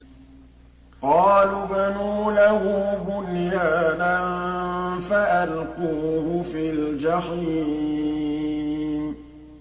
قَالُوا ابْنُوا لَهُ بُنْيَانًا فَأَلْقُوهُ فِي الْجَحِيمِ